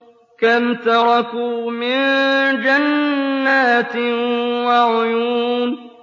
كَمْ تَرَكُوا مِن جَنَّاتٍ وَعُيُونٍ